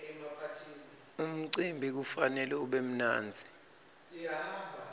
umcimbi kufanele ube mnandzi